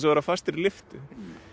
að vera fastur í lyftu